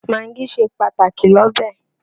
Magí ṣe pàtàkì l'ọ́bẹ̀